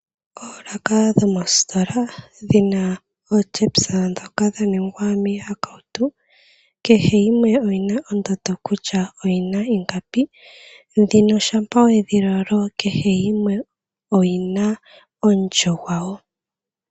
Oolaka dho mositola dhi na ootyepisa dhoka dha ningwa miihakautu kehe yimwe oyina ondando kutya oyina ingapi, dhino shampa wedhi lolo kehe yimwe oyina omulyo gwayo.